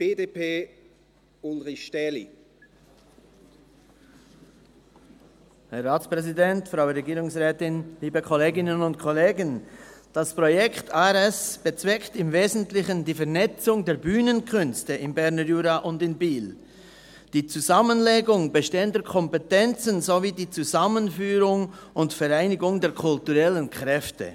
Das Projekt ARS bezweckt im Wesentlichen die Vernetzung der Bühnenkünste im Berner Jura und in Biel, die Zusammenlegung bestehender Kompetenzen sowie die Zusammenführung und Vereinigung der kulturellen Kräfte.